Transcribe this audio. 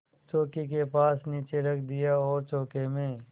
चौकी के पास नीचे रख दिया और चौके में